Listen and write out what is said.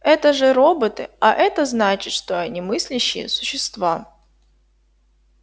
это же роботы а это значит что они мыслящие существа